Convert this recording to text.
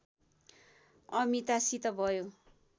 अमितासित भयो